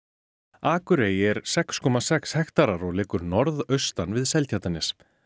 akurey er sex komma sex hektarar og liggur norðaustan við Seltjarnarnes